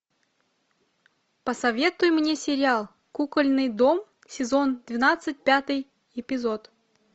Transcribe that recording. посоветуй мне сериал кукольный дом сезон двенадцать пятый эпизод